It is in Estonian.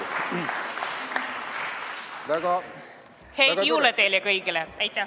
Häid jõule teile kõigile!